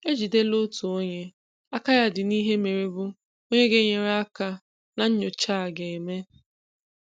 E jidela otu onye aka ya dị n'ihe mere bụ onye ga-enyereaka na nnyocha a ga-eme.